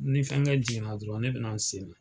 Ni fɛnkɛ jigin na dɔrɔn, ne be na n seli .